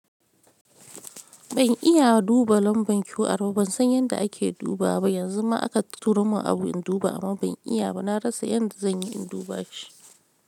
Ban iya duba lambar QR ba, ban san yanda ake dubawa ba. Yanzu ma aka turo mun abu in duba amma ban iya ba. Na rasa yanda zan yi in duba shi.